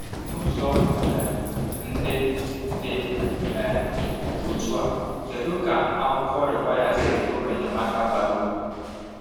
N’ụzọ um ndị dị um otú a, kedu ka akwụkwọ Require si bụrụ enyemaka bara uru?